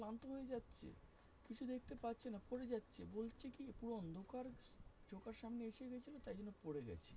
করে যাচ্ছে বলছে কি অন্ধকার সামনে এসে পড়ে গেছিল তাই